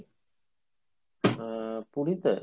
আহ পুরীতে ?